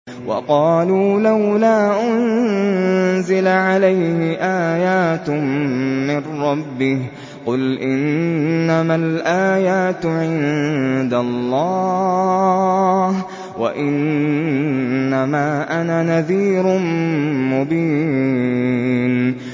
وَقَالُوا لَوْلَا أُنزِلَ عَلَيْهِ آيَاتٌ مِّن رَّبِّهِ ۖ قُلْ إِنَّمَا الْآيَاتُ عِندَ اللَّهِ وَإِنَّمَا أَنَا نَذِيرٌ مُّبِينٌ